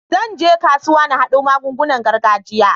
Zan je kasuwa in haɗo magungunan gargajiya.